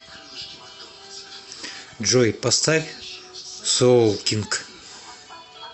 джой поставь соолкинг